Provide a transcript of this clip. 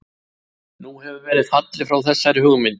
Nú hefur verið fallið frá þessari hugmynd.